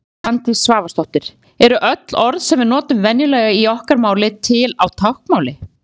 Svandís Svavarsdóttir Eru öll orð sem við notum venjulega í okkar máli til á táknmáli?